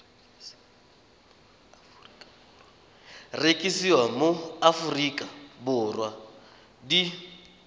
rekisiwa mo aforika borwa di